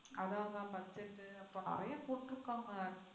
அதான் அதான் budget u நிறைய போட்றுகாங்க.